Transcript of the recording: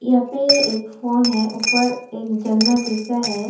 यहां पे एक फोन है ऊपर एक जन्ना जैसा है।